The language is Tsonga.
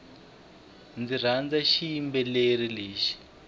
ndzi rhandza xiyimbeleri lexi